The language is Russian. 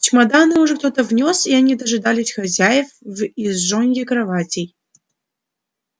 чемоданы уже кто-то внёс и они дожидались хозяев в изножье кроватей